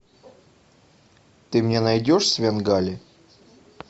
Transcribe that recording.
ты мне найдешь свенгали